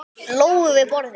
Lóu við borðið.